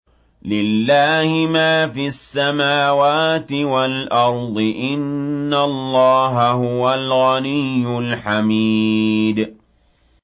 لِلَّهِ مَا فِي السَّمَاوَاتِ وَالْأَرْضِ ۚ إِنَّ اللَّهَ هُوَ الْغَنِيُّ الْحَمِيدُ